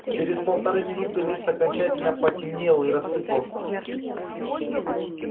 через полторы минуты лист окончательно потемнел и рассыпался